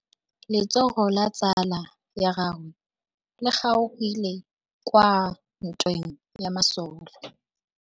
Letsôgô la tsala ya gagwe le kgaogile kwa ntweng ya masole.